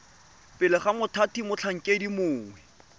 pele ga mothati motlhankedi mongwe